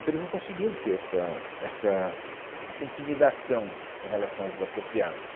Então, eles não conseguiam ter essa essa essa intimidação com relação aos desapropriados.